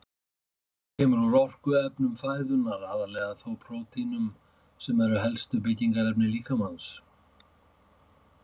Orkan kemur úr orkuefnum fæðunnar, aðallega þó prótínum sem eru helstu byggingarefni líkamans.